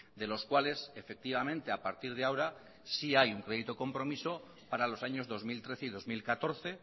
de los cuales efectivamente a partir de ahora sí hay un proyecto compromiso para los años dos mil trece y dos mil catorce